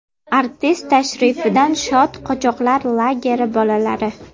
Artist tashrifidan shod qochoqlar lageri bolalari.